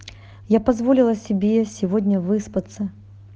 я позволила себе сегодня выспаться